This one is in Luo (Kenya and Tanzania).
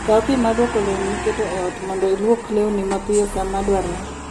Kaw pi mar lwoko lewni miketo e ot, mondo ilwok lewni mapiyo sama dwarore.